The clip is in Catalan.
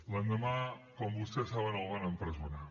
l’endemà com vostès saben el van empresonar